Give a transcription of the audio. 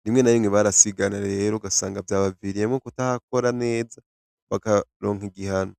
ndimwe nabimwe barasigana rero gasanga vyabaviriyemwo kutahakora neza bakaronka igihano.